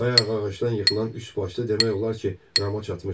Bayaq ağacdan yıxılan üçbaşlı demək olar ki, Rama çatmışdı.